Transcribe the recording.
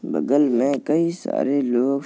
बगल में कई सारे लोग --